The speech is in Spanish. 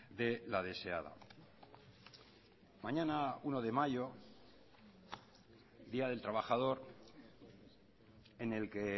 de la deseada mañana uno de mayo día del trabajador en el que